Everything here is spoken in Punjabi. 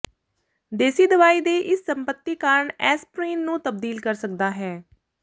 ਦੇਸੀ ਦਵਾਈ ਦੇ ਇਸ ਸੰਪਤੀ ਕਾਰਨ ਐਸਪਰੀਨ ਨੂੰ ਤਬਦੀਲ ਕਰ ਸਕਦਾ ਹੈ